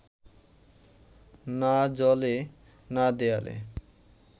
না জলে না দেয়ালে